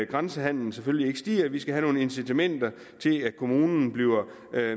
grænsehandelen selvfølgelig ikke stiger vi skal have nogle incitamenter til at kommunerne bliver